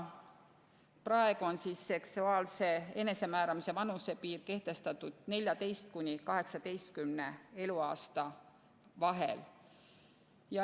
Praegu on seksuaalse enesemääramise vanusepiir kehtestatud vahemikus 14 kuni 18 eluaastat.